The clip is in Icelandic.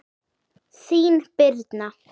Þín Birna.